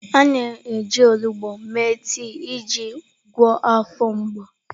A na-eji onugbu mee tii iji gwọọ afọ mgbu.